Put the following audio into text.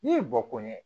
N'i ye bɔ ko ɲɛ